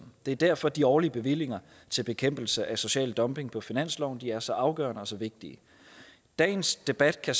det er derfor at de årlige bevillinger til bekæmpelse af social dumping på finansloven er så afgørende og så vigtige i dagens debat kan